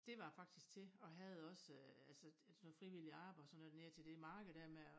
Dét var jeg faktisk til og havde også øh altså sådan noget frivilligt arbejde og sådan noget dernede til det markede dér med at